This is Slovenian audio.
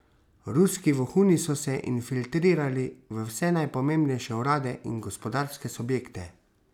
Ruski vohuni so se infiltrirali v vse najpomembnejše urade in gospodarske subjekte.